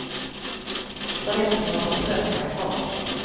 För den som har förtröstan kvar.